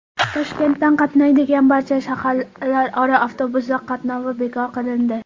Toshkentdan qatnaydigan barcha shaharlararo avtobuslar qatnovi bekor qilindi.